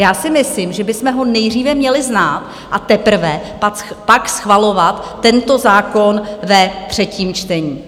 Já si myslím, že bychom ho nejdříve měli znát, a teprve pak schvalovat tento zákon ve třetím čtení.